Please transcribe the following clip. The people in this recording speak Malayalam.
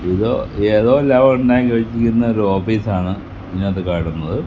ഇതോ ഏതോ വെച്ചിരിക്കുന്ന ഓഫീസാണ് ഇതിന്നാത്തു കാണുന്നത്.